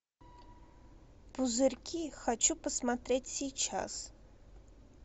пузырьки хочу посмотреть сейчас